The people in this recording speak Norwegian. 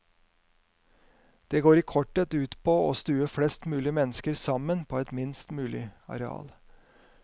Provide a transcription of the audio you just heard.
Det går i korthet ut på å stue flest mulig mennesker sammen på et minst mulig areal.